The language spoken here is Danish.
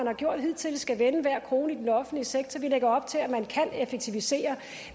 har gjort hidtil skal vende hver krone i den offentlige sektor vi lægger op til at man kan effektivisere